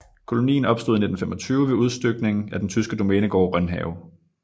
Kolonien opstod i 1925 ved udstykning af den tyske domænegård Rønhave